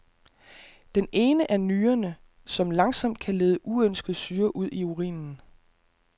Den ene er nyrerne, som langsomt kan lede uønsket syre ud i urinen.